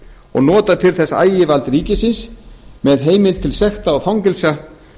og nota til þess ægivald ríkisins með heimild til sekta og fangelsa